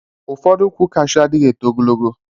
Ụfọdụ ukwu cashew adighi eto ogologo.